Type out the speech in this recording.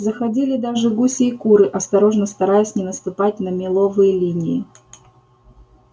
заходили даже гуси и куры осторожно стараясь не наступать на меловые линии